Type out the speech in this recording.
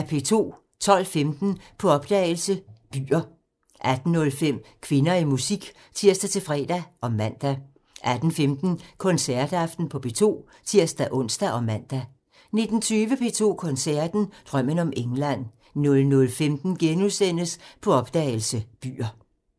12:15: På opdagelse – Byer 18:05: Kvinder i musik (tir-fre og man) 18:15: Koncertaften på P2 (tir-ons og man) 19:20: P2 Koncerten – Drømmen om England 00:15: På opdagelse – Byer *